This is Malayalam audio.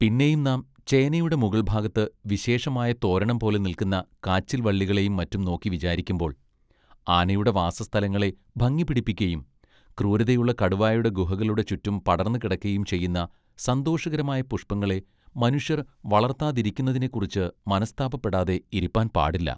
പിന്നെയും നാം ചേനയുടെ മുകൾഭാഗത്ത് വിശേഷമായ തോരണംപോലെ നിൽക്കുന്ന കാച്ചിൽ വള്ളികളെയും മറ്റും നോക്കി വിചാരിക്കുമ്പോൾ ആനയുടെ വാസസ്ഥലങ്ങളെ ഭംഗി പിടിപ്പിക്കയും ക്രൂരതയുള്ള കടുവായുടെ ഗുഹകളുടെ ചുറ്റും പടർന്ന് കിടക്കയും ചെയ്യുന്ന സന്തോഷകരമായ പുഷ്പങ്ങളെ മനുഷ്യർ വളർത്താരിക്കുന്നതിനെക്കുറിച്ച് മനസ്താപപ്പെടാതെ ഇരിപ്പാൻ പാടില്ല.